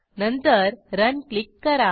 नंतरRun click करा